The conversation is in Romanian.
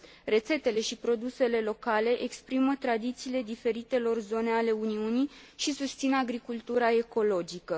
Rețetele și produsele locale exprimă tradițiile diferitelor zone ale Uniunii și susțin agricultura ecologică.